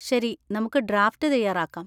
ശരി, നമുക്ക് ഡ്രാഫ്റ്റ് തയ്യാറാക്കാം.